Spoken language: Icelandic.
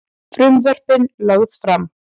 Frumvörpin lögð fram